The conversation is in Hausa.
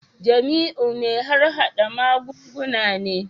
Jamiu mai harhada magunguna ne